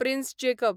prince Jacob